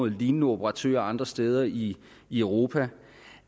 lignende operatører andre steder i i europa